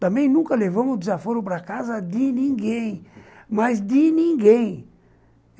Também nunca levamos desaforo para casa de ninguém, mas de ninguém.